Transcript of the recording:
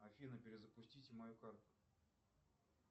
афина перезапустите мою карту